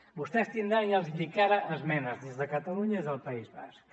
vostès tindran ja els hi dic ara esmenes des de catalunya i des del país basc